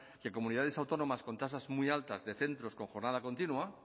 que comunidades autónomas con tasas muy altas de centros con jornada continua